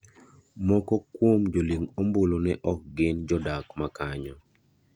Moko kuom joling' ombulu ne ok gin jodak makanyo.